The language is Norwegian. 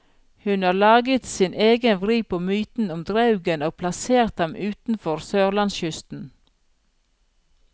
Hun har laget sin egen vri på myten om draugen og plassert ham utenfor sørlandskysten.